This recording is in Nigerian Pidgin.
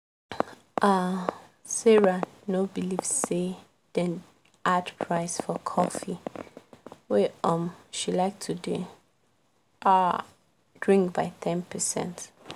um sarah no believe say dem add price for coffee wey um she like to dey um drink by 10%